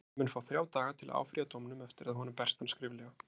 Hann mun fá þrjá daga til að áfrýja dómnum eftir að honum berst hann skriflega.